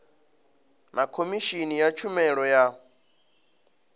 na khomishini ya tshumelo ya